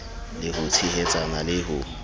le ho tshehetsana le ho